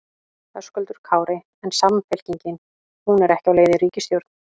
Höskuldur Kári: En Samfylkingin, hún er ekki á leið í ríkisstjórn?